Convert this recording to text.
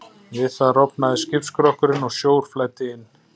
Við það rofnaði skipsskrokkurinn og sjór flæddi inn.